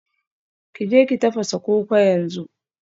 Ki je ki tafasa koko yanzu